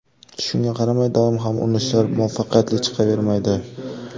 Shunga qaramay, doim ham urinishlar muvaffaqiyatli chiqavermaydi.